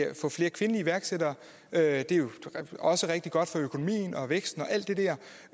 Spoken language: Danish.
at få flere kvindelige iværksættere det er jo også rigtig godt for økonomien og væksten